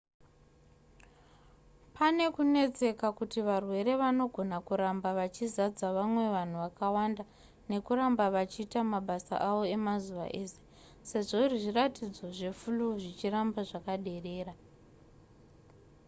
pane kunetseka kuti varwere vanogona kuramba vachizadza vamwe vanhu vakawanda nekuramba vachiita mabasa avo emazuva ese sezvo zviratidzo zveflu zvichiramba zvakaderera